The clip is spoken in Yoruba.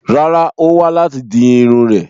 Rárá, Ó wá láti di Irun rè